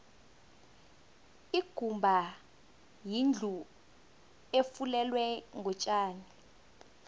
ikumba yindlu efulelwe ngotjani